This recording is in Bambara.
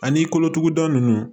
Ani kolotuguda ninnu